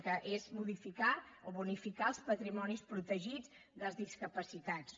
que és modificar o bonificar els patrimonis protegits dels discapacitats